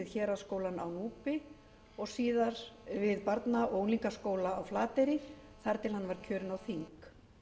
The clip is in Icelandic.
héraðsskólann á núpi og síðar við barna og unglingaskóla á flateyri þar til hann var kjörinn á þing